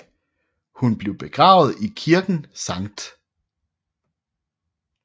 Hun blev begravet i kirken St